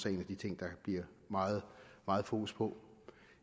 en af de ting der bliver meget meget fokus på